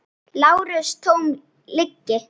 LÁRUS: Tóm lygi!